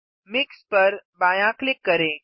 mix पर बायाँ click करें